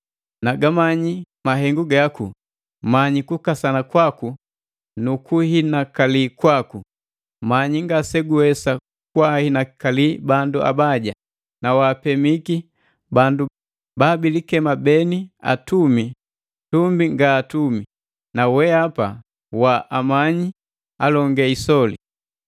Nagamanyi mahengu gaku, manyi kukasana kwaku nu kuhinakali kwaku. Manyi ngase guwesa kwaahinakali bandu abaja, na waapemiki bandu ba bilikema beni atumi tumbi nga atumi, na weapa wa amanyiki alonge isoli.